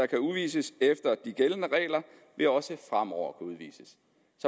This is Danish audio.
kan udvises efter de gældende regler vil også fremover kunne udvises